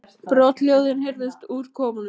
Brothljóðin heyrðust úr kofanum.